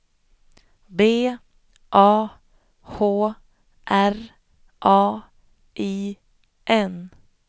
B A H R A I N